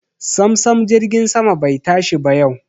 Samsam jirgin sama bai tashi ba yau.